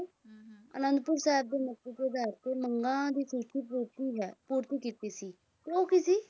ਅਨੰਦਪੁਰ ਸਾਹਿਬ ਦੀ ਤੇ ਬੈਠ ਕੇ ਮੰਗਾਂ ਦੀ ਪੂਰਤੀ ਹੈ ਪੂਰਤੀ ਕੀਤੀ ਸੀ ਉਹ ਕੀ ਸੀ